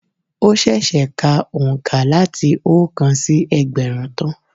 Ó sèsè ka òǹkà láti oókan sí ẹgbẹ̀rún tán